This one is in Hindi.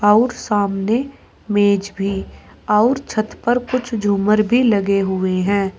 और सामने मेज भी और छत पर कुछ झूमर भी लगे हुए है।